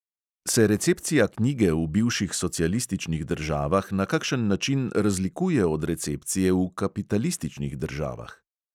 Se recepcija knjige v bivših socialističnih državah na kakšen način razlikuje od recepcije v kapitalističnih državah?